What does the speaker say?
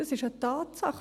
Das ist eine Tatsache.